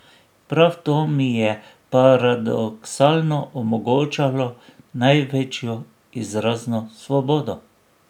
Prav to mi je paradoksalno omogočalo največjo izrazno svobodo.